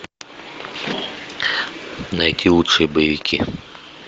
найти лучшие боевики